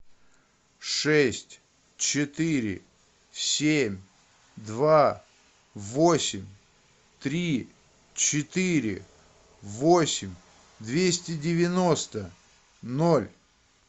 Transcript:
шесть четыре семь два восемь три четыре восемь двести девяносто ноль